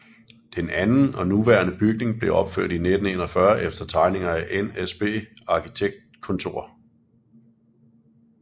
Den anden og nuværende bygning blev opført i 1941 efter tegninger af NSB Arkitektkontor